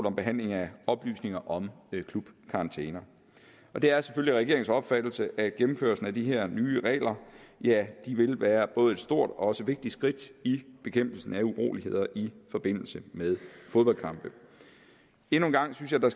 om behandling af oplysninger om klubkarantæner det er selvfølgelig regeringens opfattelse at gennemførelsen af de her nye regler vil være et både stort og vigtigt skridt i bekæmpelsen af uroligheder i forbindelse med fodboldkampe endnu en gang synes jeg der